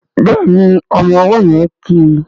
Béèni ọmọ ọwó yén kí.